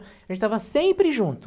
A gente estava sempre junto.